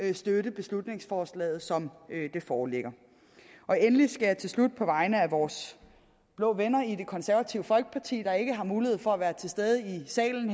ikke støtte beslutningsforslaget som det foreligger endelig skal jeg til slut på vegne af vores blå venner i det konservative folkeparti der ikke har mulighed for at være til stede her i salen